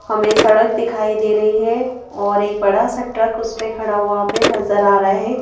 हमें सड़क दिखाई दे रही है और एक बड़ा सा ट्रक उस पे खड़ा हुआ पे नजर आ रहा है।